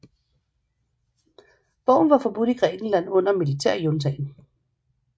Bogen var forbudt i Grækenland under militærjuntaen